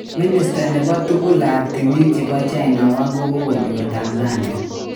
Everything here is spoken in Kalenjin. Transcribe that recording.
minister nepo tugul ap timin chepo china wang kokonyor Tanzania